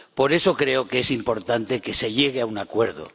Por eso creo que es importante que se llegue a un acuerdo.